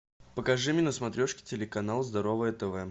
покажи мне на смотрешке телеканал здоровое тв